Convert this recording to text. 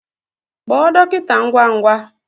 Kpọọ dọkịta ngwa ngwa!